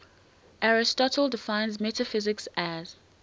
aristotle defines metaphysics as